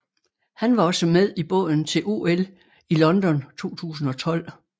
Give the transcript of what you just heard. Han var også med i båden til OL i London 2012